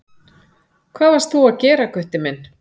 Hvað varst þú að gera Gutti minn?